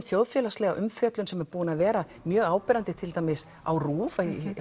þjóðfélagslega umfjöllun sem er búin að vera mjög áberandi til dæmis á RÚV